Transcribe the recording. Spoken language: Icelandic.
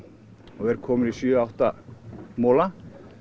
og er kominn í sjö átta mola